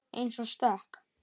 Ein og stök.